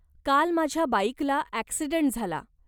काल माझ्या बाईकला अॅक्सिडंट झाला.